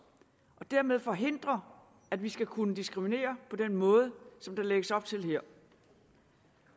og dermed forhindrer at vi skal kunne diskriminere på den måde som der lægges op til her